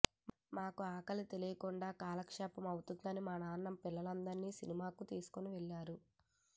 మాకు ఆకలి తెలియకుండా కాలక్షేపం అవుతుందని మా నాన్న పిల్లలందరిని సినిమాకు తీసుకువెళ్లారు